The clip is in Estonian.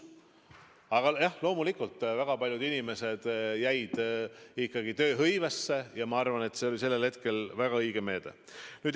Aga jah, loomulikult, väga paljud inimesed jäid ikkagi tööhõivesse ja ma arvan, et see oli sellel hetkel väga õige meede.